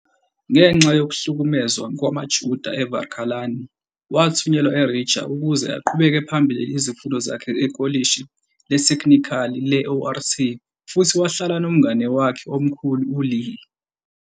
Ngenxa yokuhlukunyezwa kwamaJuda eVarakļāni, wathunyelwa eRiga ukuze aqhubele phambili izifundo zakhe ekolishi letheknikhali le-ORT futhi wahlala nomngane wakhe omkhulu uLeah.